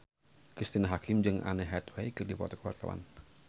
Cristine Hakim jeung Anne Hathaway keur dipoto ku wartawan